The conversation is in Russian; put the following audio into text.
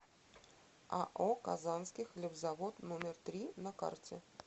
ао казанский хлебозавод номер три на карте